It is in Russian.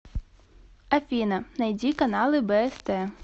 афина найди каналы бст